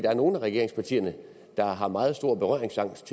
er nogle af regeringspartierne der har meget stor berøringsangst